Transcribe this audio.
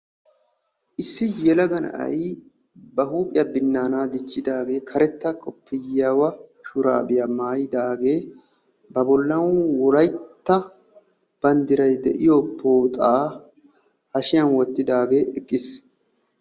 Issi yelaga na'ay ba huuphiya dichchidaage karetta shurabbiya maayiddi wolaytta banddiray de'iyo pooxxa wottiddi eqqiis.